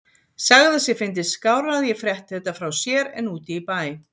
Sagði að sér fyndist skárra að ég frétti þetta frá sér en úti í bæ.